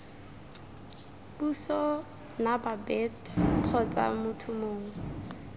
puso nababet kgotsa motho mongwe